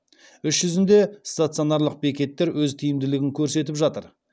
іс жүзінде стационарлық бекеттер өз тиімділігін көрсетіп жатыр